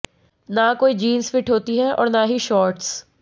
न कोई jeans fit होती है और न ही शॉट्स